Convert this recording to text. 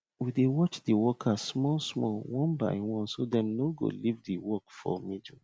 we dey watch de workers small small one by one so dem no go leave de work for middle